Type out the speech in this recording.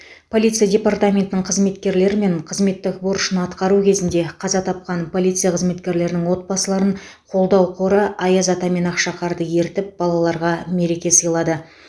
полиция департаментінің қызметкерлері мен қызметтік борышын атқару кезінде қаза тапқан полиция қызметкерлерінің отбасыларын қолдау қоры аяз ата мен ақшақарды ертіп балаларға мереке сыйлады